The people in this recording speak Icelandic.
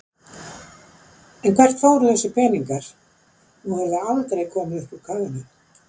En hvert fóru þessir peningar, nú hefur það aldrei komið upp úr kafinu?